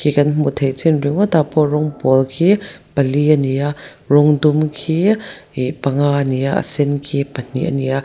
khi kan hmuh theih chin ringawtah pawh rawng pawl khi pali ani a rawng dum khi ih panga a ni a a sen khi pahnih a ni a.